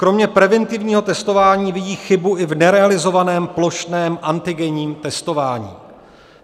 Kromě preventivního testování vidí chybu i v nerealizovaném plošném antigenním testování.